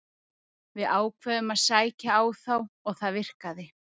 Við ákváðum að sækja á þá og það virkaði.